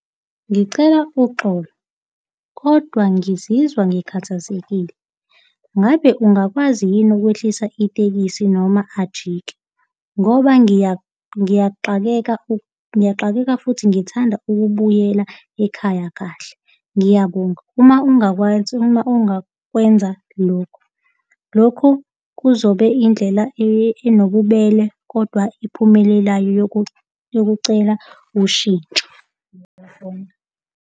Ngicela uxolo, kodwa ngizizwa ngikhathazekile. Ngabe ungakwazi yini ukwehlisa itekisi noma ajike, ngoba ngiyaxakeka ngiyaxakeka futhi ngithanda ukubuyela ekhaya kahle, ngiyabonga. Uma ungakwazi, uma ungakwenza lokhu. Lokhu kuzobe indlela enobubele kodwa ephumelelayo yokucela ushintsho.